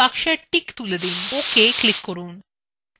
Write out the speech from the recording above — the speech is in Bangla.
ভিসিবল box টিক তুলে দিন ok click করুন